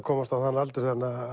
komast á þann aldur